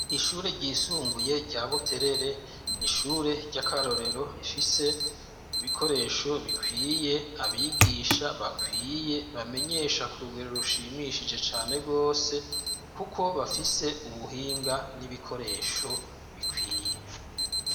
Ishure ryisumbuye rya Buterere ni ishure ry'akarorero, rifise ibikoresho bikwiye, abigisha bakwiye, bamenyesha ku rugero rushimishije cane rwose kuko bafise ubuhinga n'ibikoresho bikwiye.